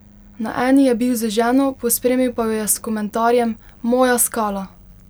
Na eni je bil z ženo, pospremil pa jo je s komentarjem: "Moja skala!